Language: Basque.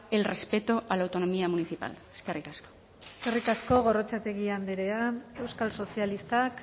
el respeto a la autonomía municipal eskerrik asko eskerrik asko gorrotxategi andrea euskal sozialistak